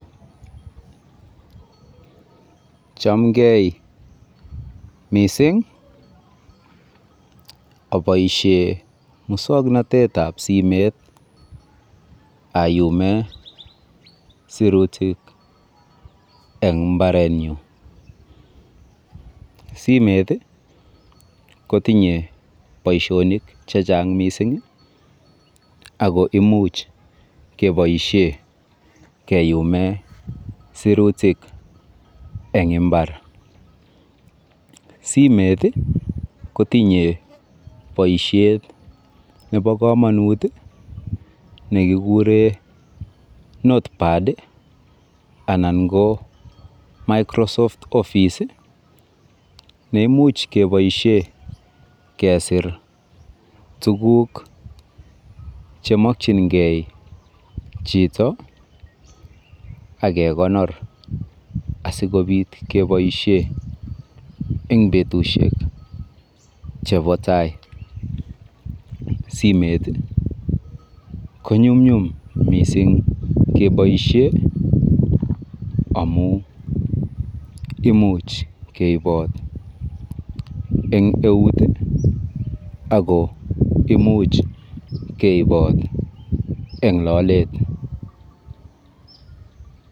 Chamgei mising. Aboisie muswoknatetab simet ayume sirutik eng mbaretnyu. Simet kotinye boisionik chechang mising ako imuch keboisie keyume sirutik eng imbar. Simet kotinye boisiet nebo komonut nekikure Notepad anan ko Microsoft Office neimuch keboisie